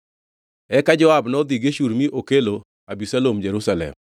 Eka Joab nodhi Geshur mi okelo Abisalom Jerusalem.